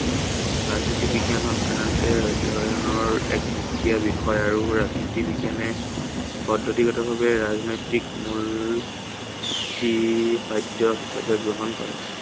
ৰাজনীতি বিজ্ঞানৰ আহ সাধাৰনতে অধ্য়য়নৰ এক সুকীয়া বিষয় আৰু ৰাজনীতি বিজ্ঞানে পদ্ধতিগত ভাৱে ৰাজনৈতিক মূল সুঁতি হিচাপে গ্ৰহণ কৰে।